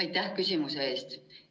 Aitäh küsimuse eest!